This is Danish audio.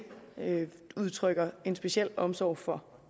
udtrykker en speciel omsorg for